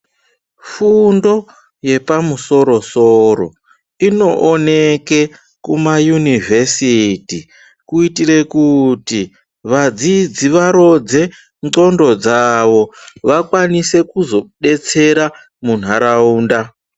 Fundo yepamusoro soro inooneke kumayunivhesiti kuitire kuti vadzidzi varodze ndxondo dzawo vakwanise kuzodetsera munharaunda